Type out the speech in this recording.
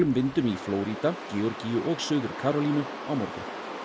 vindum í Flórída Georgíu og Suður Karólínu á morgun